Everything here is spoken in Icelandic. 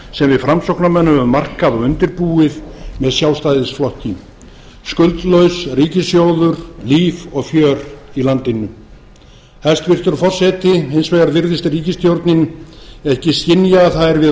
við framsóknarmenn höfum markað og undirbúið með sjálfstæðisflokki skuldlaus ríkissjóður líf og fjör í landinu hæstvirtur forseti hins vegar virðist ríkisstjórnin ekki skynja að það er við